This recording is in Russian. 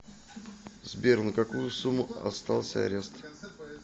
сбер на какую сумму остался арест